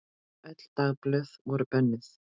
Öll dagblöð voru bönnuð.